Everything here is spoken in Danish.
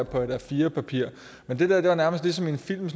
på et a4 papir men det der var nærmest ligesom en film